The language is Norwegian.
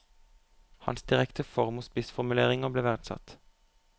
Hans direkte form og spissformuleringer ble verdsatt.